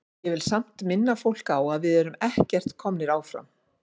Ég vil samt minna fólk á að við erum ekkert komnir áfram.